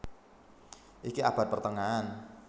Iki abad pertengahan